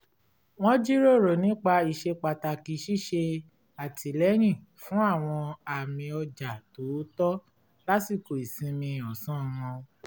wọ́n jíròrò nípa ìṣẹ́pàtàkì ṣíṣe àtìlẹ́yìn fún àwọn àmì ọ̀jà tòótọ̀ lásìkò ìsinmi ọ̀sán wọn